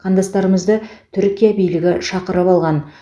қандастарымызды түркия билігі шақырып алған